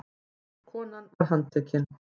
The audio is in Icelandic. Konan var handtekin